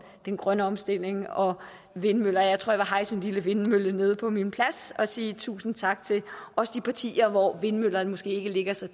den grønne omstilling og vindmøller jeg tror jeg vil hejse en lille vindmølle nede på min plads og sige tusind tak til også de partier hvor vindmøller måske ikke ligger så